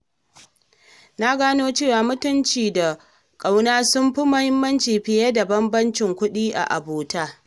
Na gano cewa mutunci da ƙauna sun fi muhimmanci fiye da bambancin kuɗi a abota.